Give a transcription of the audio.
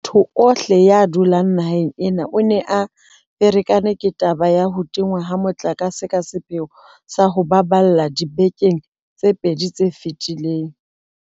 Motho ohle ya dulang naheng ena o ne a ferekane ke taba ya ho tingwa ha motlakase ka sepheo sa ho o baballa dibekeng tse pedi tse fetileng.